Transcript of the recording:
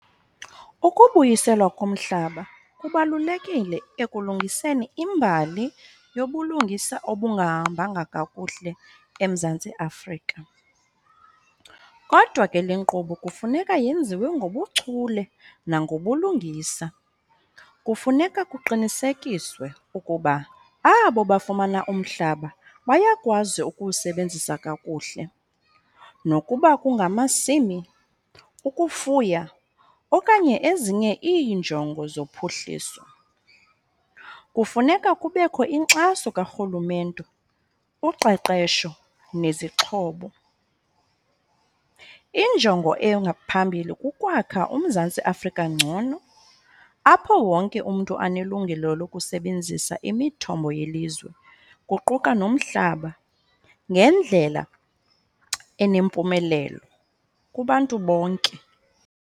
Ukubuyiselwa komhlaba kubalulekile ekulungiseni imbali yobulungisa obungahambanga kakuhle eMzantsi Afrika. Kodwa ke le nkqubo kufuneka yenziwe ngobuchule nangobulungisa. Kufuneka kuqinisekiswe ukuba abo bafumana umhlaba bayakwazi ukuwusebenzisa kakuhle nokuba kungamasimi, ukufuya okanye ezinye iinjongo zophuhliso. Kufuneka kubekho inkxaso karhulumente, uqeqesho nezixhobo. Injongo engaphambili kukwakha uMzantsi Afrika ngcono apho wonke umntu anelungelo lokusebenzisa imithombo yelizwe, kuquka nomhlaba ngendlela enempumelelo kubantu bonke.